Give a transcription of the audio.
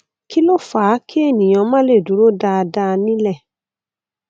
kí ló fà á kí ènìyàn má le dúró dáadáa nilẹ